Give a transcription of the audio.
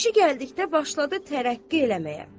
İşi gəldikdə başladı tərəqqi eləməyə.